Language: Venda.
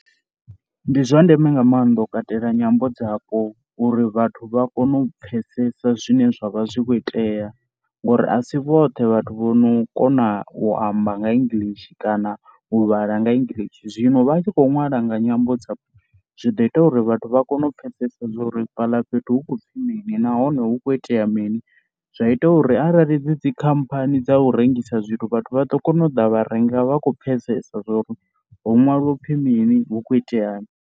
Ndi zwa ndeme nga maanḓa u katela nyambo dzapo uri vhathu vha kone u pfhesesa zwine zwa vha zwi khou itea ngori a si vhoṱhe vhathu vho no kona u amba nga English kana u vhala nga English. Zwino vha a tshi khou ṅwala nga nyambo dzapo zwi ḓo ita uri vhathu vha kone u pfhesesa zwa uri fhaḽa fhethu hu khou pfhi mini nahone hu khou itea mini. Zwa ita uri arali dzi dzikhamphani dza u rengisa zwithu vhathu vha ḓo kona u ḓa vha renga vha kho pfhesesa zwa uri ho ṅwaliwa u pfhi mini hu kho iteani.